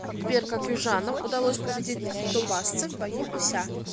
сбер как южанам удалось победить тобасцев в бою у ся